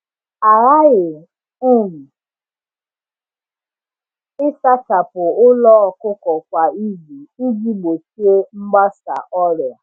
A ghaghị um ịsachapụ ụlọ ọkụkọ kwa izu iji gbochie mgbasa ọrịa.